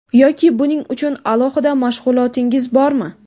Yoki buning uchun alohida mashg‘ulotingiz bormi?